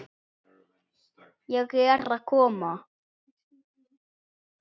Ég er að koma